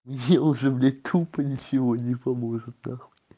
мне уже блядь тупо ничего не поможет нахуй